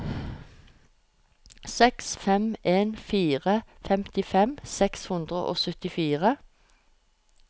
seks fem en fire femtifem seks hundre og syttifire